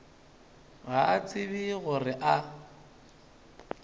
ga a tsebe gore a